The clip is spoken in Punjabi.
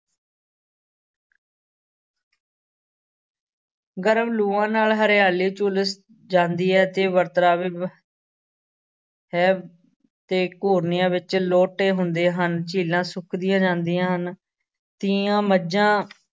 ਗਰਮ ਲੂਆਂ ਨਾਲ ਹਰਿਆਲੀ ਝੁਲਸ ਜਾਂਦੀ ਹੈ ਤੇ ਹੈ, ਤੇ ਘੁਰਨਿਆਂ ਵਿਚ ਲੋਟੇ ਹੁੰਦੇ ਹਨ, ਝੀਲਾਂ ਸੁੱਕਦੀਆਂ ਜਾਂਦੀਆਂ ਹਨ, ਤੀਆਂ ਮੱਝਾਂ